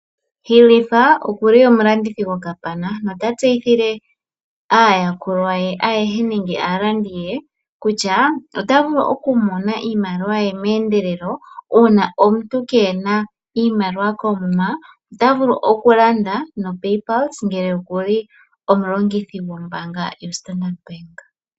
Ilifa okuli omulandithi gokapana nota tseyithile aayakulwa ye ayehe nenge aalandi ye kutya ota vulu okumona iimaliwa ye meendelelo. Uuna omuntu kee na iimaliwa koomuma ota vulu okulanda noPaypulse ngele oku li omulongithi gombaanga yoStandard Bank.